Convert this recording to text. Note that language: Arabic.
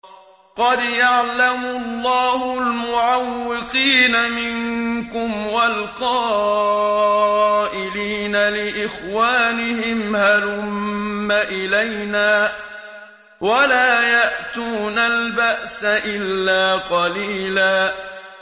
۞ قَدْ يَعْلَمُ اللَّهُ الْمُعَوِّقِينَ مِنكُمْ وَالْقَائِلِينَ لِإِخْوَانِهِمْ هَلُمَّ إِلَيْنَا ۖ وَلَا يَأْتُونَ الْبَأْسَ إِلَّا قَلِيلًا